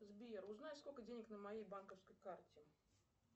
сбер узнай сколько денег на моей банковской карте